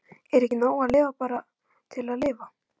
Er ekki nóg að lifa bara til að lifa?